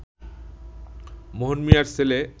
মোহন মিয়ার ছেলে